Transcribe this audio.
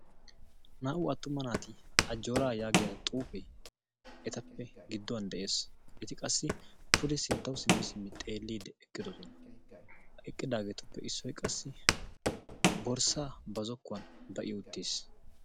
Naa'u attuma naati ajora yaagiya xuufe etappe giduwan de'ees. Eti qassi puude sinttawu simmidi xeelidi eqqidosona. Ha eqqidagetruppe issoy qassi borssa ba zokuwan bai uttiis.